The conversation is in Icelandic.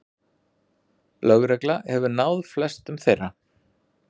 Lögregla hefur náð flestum þeirra